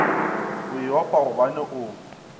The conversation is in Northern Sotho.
e a opa gobane o